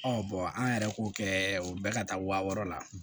an yɛrɛ k'o kɛ o bɛ ka taa wa wɔɔrɔ la